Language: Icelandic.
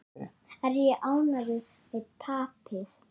Er ég ánægður með tapið?